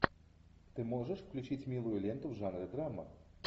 ты можешь включить милую ленту в жанре драма